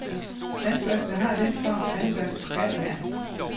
Tandbørster har den form, tandbørster skal have.